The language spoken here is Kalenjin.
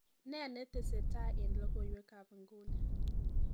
nen netesetai en logoiwek ab inguni